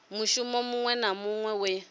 mushumo muṅwe na muṅwe we